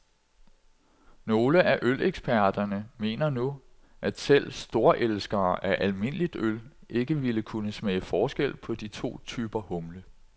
Nogle af øleksperterne mener nu, at selv storelskere af almindeligt øl ikke ville kunne smage forskel på de to typer humle.